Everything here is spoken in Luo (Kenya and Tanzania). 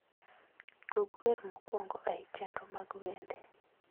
Tug wer mokwongo ei chenro mag wende